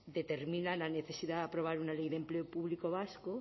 determina la necesidad de aprobar una ley de empleo público vasco